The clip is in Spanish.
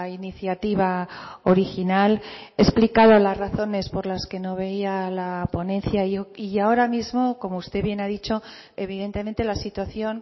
iniciativa original he explicado las razones por las que no veía la ponencia y ahora mismo como usted bien ha dicho evidentemente la situación